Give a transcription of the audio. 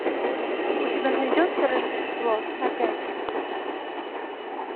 у тебя найдется рождество опять